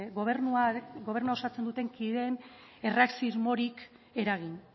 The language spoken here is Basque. gobernua osatzen duten kideen erreakziorik eragin